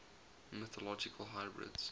mythological hybrids